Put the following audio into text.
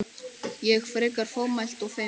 Ég, frekar fámælt og feimin.